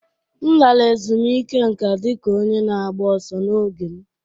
M lara ezumike nká dị ka onye na-agba ọsọ n'oge m